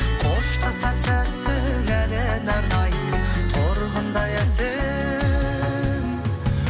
қоштасар сәттің әніне арнаймын торғындай әсем